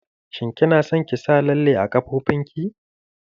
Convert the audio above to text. Shin kina son ki sa lalle a ƙafafonki?